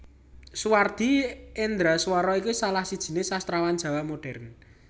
Suwardi Endraswara iki salah sijiné sastrawan Jawa modhèrn